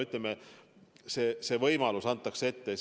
Ütleme, see võimalus antakse ette.